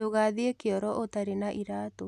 Ndũgathiĩ kĩoro ũtarĩ na iratũ